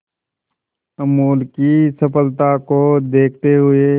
अमूल की सफलता को देखते हुए